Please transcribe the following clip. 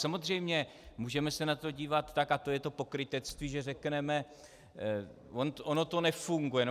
Samozřejmě, můžeme se na to dívat tak, a to je to pokrytectví, že řekneme: ono to nefunguje.